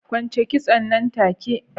Kwance kitson nan take!